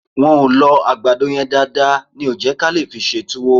Wọ́n ò lọ àgbàdo yẹn dáadáa ní ò jẹ́ kí a lè fi ṣe tuwo